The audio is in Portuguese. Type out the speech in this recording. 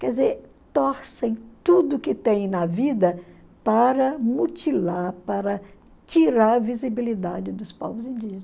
Quer dizer, torcem tudo que tem na vida para mutilar, para tirar a visibilidade dos povos indígenas.